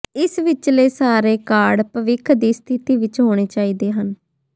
ਇਸ ਵਿਚਲੇ ਸਾਰੇ ਕਾਰਡ ਭਵਿੱਖ ਦੀ ਸਥਿਤੀ ਵਿਚ ਹੋਣੇ ਚਾਹੀਦੇ ਹਨ